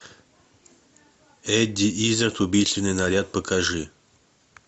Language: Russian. эдди иззард убийственный наряд покажи